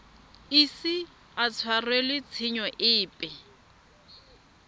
ise a tshwarelwe tshenyo epe